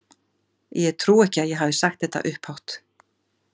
Ég trúi ekki að ég hafi sagt þetta upphátt.